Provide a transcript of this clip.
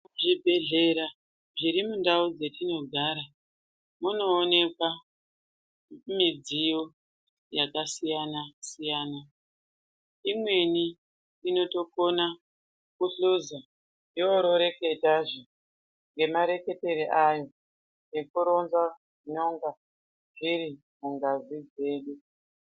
Zvibhehlera zviri mundau dzatinogara munoonekwa midziyo yakasiyana siyana. Imweni inotokona kuhloza, yororeketazve ngemareketero ayo ekuronza zvinonga zviri mungazi dzedu.